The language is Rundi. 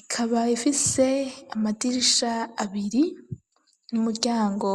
ikaba ifise amadirisha abiri n'umuryango